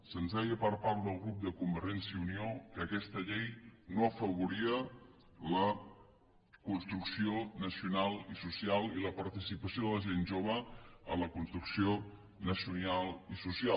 se’ns deia per part del grup de convergència i unió que aquesta llei no afavoria la construcció nacional i social ni la participació de la gent jove a la construcció nacional i social